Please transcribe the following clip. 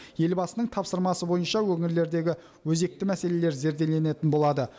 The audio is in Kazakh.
елбасының тапсырмасы бойынша өңірлердегі өзекті мәселелер зерделенетін болады